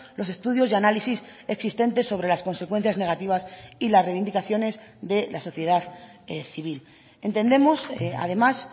los estudios y análisis existentes sobre las consecuencias negativas y las reivindicaciones de la sociedad civil entendemos además